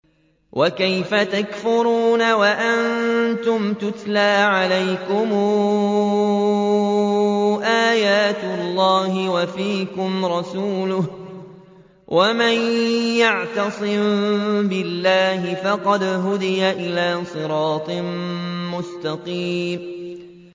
وَكَيْفَ تَكْفُرُونَ وَأَنتُمْ تُتْلَىٰ عَلَيْكُمْ آيَاتُ اللَّهِ وَفِيكُمْ رَسُولُهُ ۗ وَمَن يَعْتَصِم بِاللَّهِ فَقَدْ هُدِيَ إِلَىٰ صِرَاطٍ مُّسْتَقِيمٍ